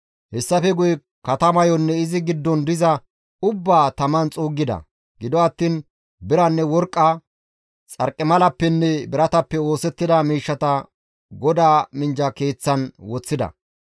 Hessafe guye katamayonne izi giddon diza ubbaa taman xuuggida; gido attiin biranne worqqa, xarqimalappenne biratappe oosettida miishshata GODAA minjja keeththan woththida.